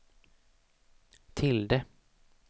tilde